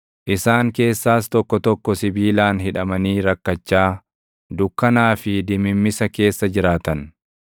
Isaan keessaas tokko tokko sibiilaan hidhamanii rakkachaa, dukkanaa fi dimimmisa keessa jiraatan;